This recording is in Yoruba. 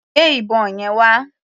Gbé ìbọn yẹn wá.